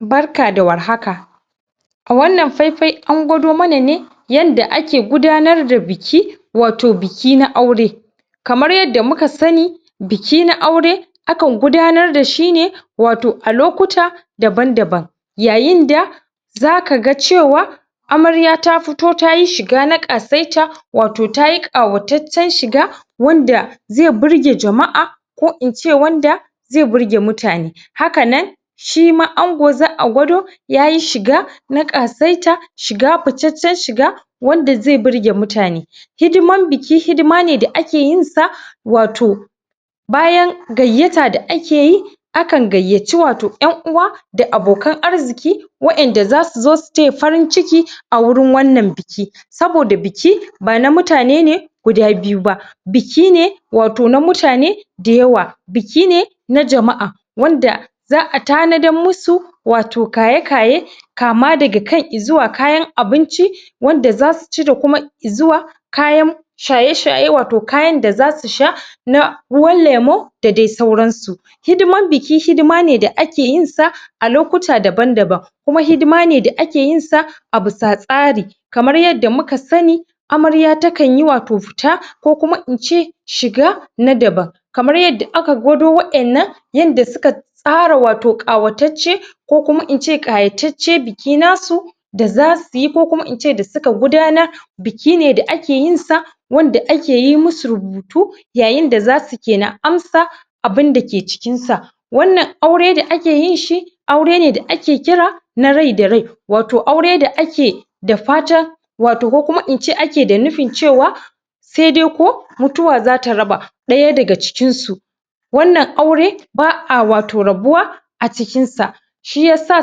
Barka da warhaka A wannan faifai an gwado mana ne yadda ake gudanar da biki wato biki na aure kamar yadda muka sani buki na aure akan gudanar da shi ne wato a lokuta daban-daban yayin da zaka ga cewa amarya ta fito ta yi shiga ta ƙasaita wato ta yi ƙawataccen shiga wanda zai burge jama'a ko in ce wanda zai burge mutane haka nan shi ma ango za a gwado ya yi shiga na ƙasaita shiga ficaccen shiga wanda zai burge mutane hidimar buki hidima ne da ake yinsa wato bayan gayyata da ake yi akan gayyaci wato 'yan uwa da abokan arziƙi wa'yenda za su zo su taya farin ciki a wurin wannan biki saboda biki bana mutane ne guda biyu ba buki ne wato na mutane da yawa buki ne na jama'a wanda za a tanadar masu wato kaye-kaye kama daga kan izuwa kayan abinci wanda za su ci da kuma izuwa kayan shaye-shaye wato kayan da za su sha? ruwan lemo da dai sauransu hidimar buki hidima ne da ake yinsa a lokuta daban-daban kuma hidima ne da ake yinsa a bisa tsari kamar yadda muka sani amarya takan yi wato fita ko kuma in ce shiga na daban kamar yadda aka kwado wa'yannan yadda suka tsara wato ƙawatacce ko kuma in ce ƙayatacce biki nasu da za su yi ko kuma in ce da suka gudanar biki ne da ake yinsa wanda ake yi masu rubutu yayin da za su ke na amsa abinda ke jikinsa wannan aure da ake yin shi aure ne da ake kira na rai da rai wato aure da ake da fatan wato ko kuma ince ake da nufin cewa sai dai ko mutuwa za ta raba ɗaya daga cikinsu wannan aure ba a wato rabuwa a cikinsa shi ya sa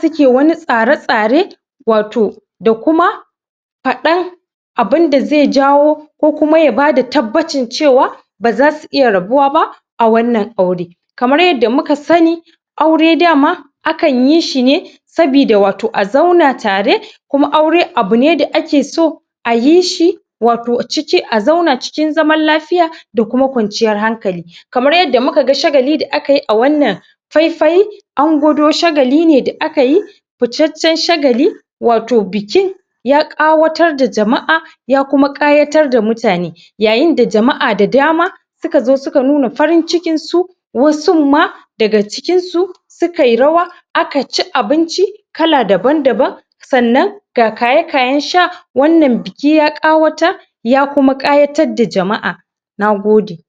suke wani tsare-tsare wato da kuma faɗan abinda zai jawo ko kuma ya bada tabbacin cewa ba za su iya rabuwa ba a wannan aure kamar yadda muka sani aure dama akan yi shi ne sabida wato a zauna tare kuma aure abu ne da ake so ayi shi wato ciki a zauna cikin zaman lafiya da kuma kwanciyar hankali kamar yadda muka ga shagali da akai a wannan faifai an gwado shagali ne da aka yi ficaccen shagali wato biki ya ƙawatar da jama'a ya kuma ƙayatar da mutane yayin da jama'a da dama suka zo suka nuna farin cikinsu wasun ma daga cikinsu sukai rawa aka ci abinci kala daban-daban sannan ga kaye-kayen sha wannan biki ya ƙawatar ya kuma ƙayatar da jama'a. Na gode!